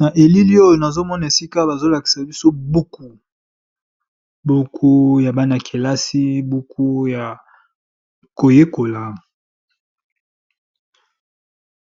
Na elili oyo nazomona esika bazolakisa biso buku, buku ya bana-kelasi buku ya